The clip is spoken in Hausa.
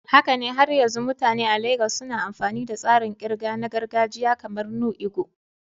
Haka ne, har yanzu mutane a Legas suna amfani da tsarin ƙirga na gargajiya kamar "nnu ego"?